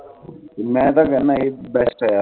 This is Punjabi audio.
ਮੈਂ ਤਾ ਕਹਿਣਾ ਇਹ best ਆ